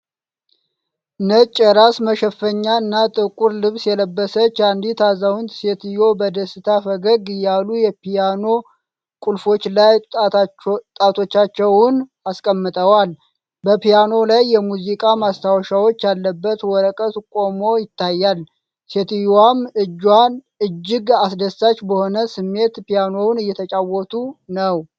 ነጭ የራስ መሸፈኛ እና ጥቁር ልብስ የለበሰች አንዲት አዛውንት ሴትዮ በደስታ ፈገግ እያሉ የፒያኖ ቁልፎች ላይ ጣቶቻቸውን አስቀምጠዋል። በፒያኖው ላይ የሙዚቃ ማስታወሻዎች ያለበት ወረቀት ቆሞ ይታያል፤ ሴትዮዋም እጅግ አስደሳች በሆነ ስሜት ፒያኖውን እየተጫወቱ ነው።